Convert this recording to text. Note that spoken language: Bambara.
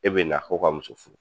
E be na ko ka muso furu.